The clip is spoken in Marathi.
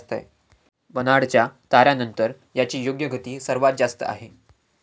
बर्नाडच्या ताऱ्यानंतर याची योग्य गती सर्वांत जास्त आहे.